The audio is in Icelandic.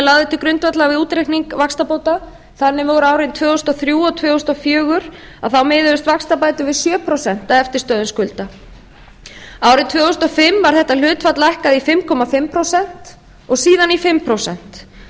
lagðir til grundvallar við útreikning vaxtabóta þannig að nú árin tvö þúsund og þrjú og tvö þúsund og fjögur miðuðust vaxtabætur við sjö prósent af eftirstöðva skulda árið tvö þúsund og fimm var þetta hlutfall lækkað í fimm og hálft prósent og síðan í fimm prósent